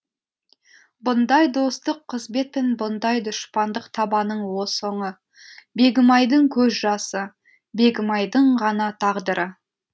бұндай достық қызмет пен бұндай дұшпандық табаның соңы бегімайдың көз жасы бегімайдың ғана тағдыры